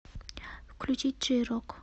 включить джей рок